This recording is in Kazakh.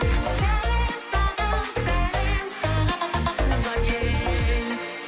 сәлем саған сәлем саған туған ел